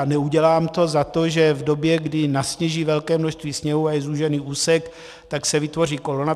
A neudělám to za to, že v době, kdy nasněží velké množství sněhu a je zúžený úsek, tak se vytvoří kolona.